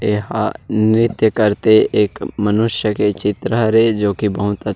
यहाँ नृत्य करते एक मनुष्य के चित्र हरे जो की बहुत ही अच--